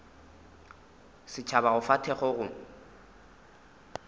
setšhaba go fa thekgo go